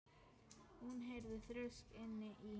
Hún heyrði þrusk inni í